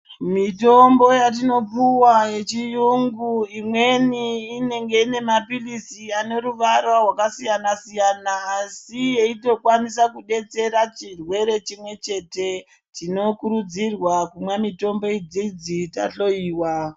Mitombo yatinopuwa yechiyungu imweni inenge inemaphilizi ineruvara rwakasiyana-siyana asi yeitokwanisa kudetsera chirwere chimwe chete. Tinokurudzirwa kumwa mitombo idziidzi tahloiwa.